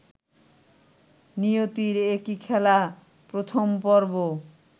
নিয়তির একী খেলা / প্রথম পর্ব -